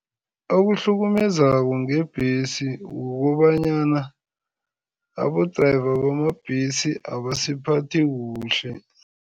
Okuhlukumezako ngebhesi kukobanyana abo-driver bamabhesi abasiphathi kuhle.